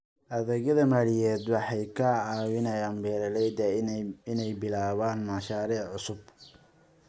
Adeegyada maaliyadeed waxay ka caawiyaan beeralayda inay bilaabaan mashaariic cusub.